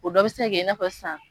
O dɔ bɛ se ka kɛ i n'a fɔ sisan